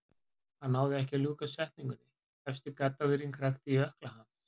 Hann náði ekki að ljúka setningunni, efsti gaddavírinn krækti í ökkla hans.